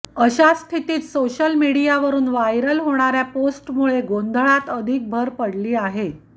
अशा स्थितीत सोशल मीडियावरून वायरल होणार्या पोस्टमुळे गोंधळात अधिक भर पडली आहे